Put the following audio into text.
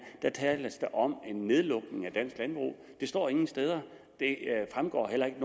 her tales om en nedlukning af dansk landbrug det står ingen steder det fremgår heller ikke